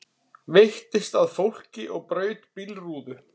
Veittist að fólki og braut bílrúðu